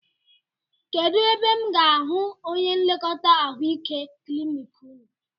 Kedụ ebe m ga-ahụ onye nlekọta ahụike klinik unu?